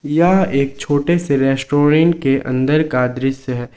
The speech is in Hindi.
यह एक छोटे से रेस्टोरेंट के अंदर का दृश्य है।